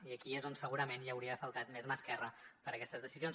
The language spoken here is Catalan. i aquí és on segurament hi hauria faltat més mà esquerra per aquestes decisions